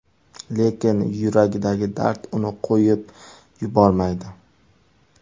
Lekin yuragidagi dard uni qo‘yib yubormaydi.